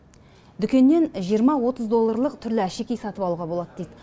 дүкеннен жиырма отыз долларлық түрлі әшекей сатып алуға болады дейді